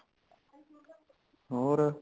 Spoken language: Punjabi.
ਹੋਰ